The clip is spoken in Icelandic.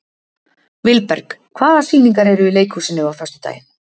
Vilberg, hvaða sýningar eru í leikhúsinu á föstudaginn?